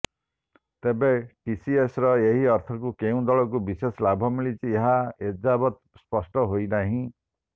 ତେବେ ଟିସିଏସ୍ର ଏହି ଅର୍ଥରୁ କେଉଁ ଦଳକୁ ବିଶେଷ ଲାଭ ମିଳିଛି ଏହା ଏଯାବତ୍ ସ୍ପଷ୍ଟ ହୋଇନାହିଁ